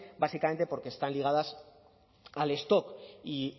básicamente porque están ligadas al stock y